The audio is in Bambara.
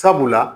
Sabula